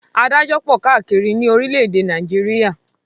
Adájọ́ pọ̀ káàkiri ní orílẹ̀-èdè Nàìjíríà